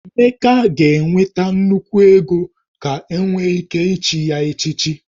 Emeka ga-enweta nnukwu ego ka enwe ike ichi ye echichi